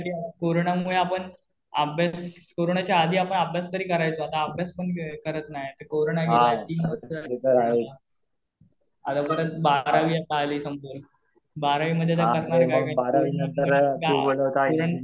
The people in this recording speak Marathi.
कोरोना मुळे आपण अभ्यास, कोरोनाच्या आधी आपण अभ्यास तरी करायचो आता अभ्यास पण करत नाही. ते कोरोना गेले तीन वर्ष. आता परत बारावी आली संपलं . बारावी मध्ये तर करणार काय